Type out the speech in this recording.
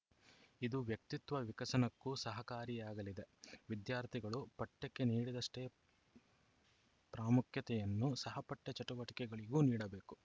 ಇದು ವ್ಯಕ್ತಿತ್ವ ವಿಕಸನಕ್ಕೂ ಸಹಕಾರಿಯಾಗಲಿದೆ ವಿದ್ಯಾರ್ಥಿಗಳು ಪಠ್ಯಕ್ಕೆ ನೀಡಿದಷ್ಟೇ ಪ್ರಾಮುಖ್ಯತೆಯನ್ನು ಸಹಪಠ್ಯ ಚಟುವಟಿಕೆಗಳಿಗೂ ನೀಡಬೇಕು